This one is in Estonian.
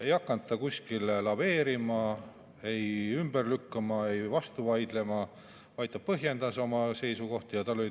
Ei hakanud minister laveerima, ei ümber lükkama, ei vastu vaidlema, vaid ta põhjendas oma seisukohti.